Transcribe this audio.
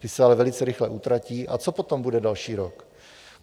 Ty se ale velice rychle utratí a co potom bude další rok?